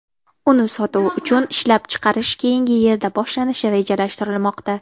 Uni sotuv uchun ishlab chiqarish keyingi yilda boshlanishi rejalashtirilmoqda.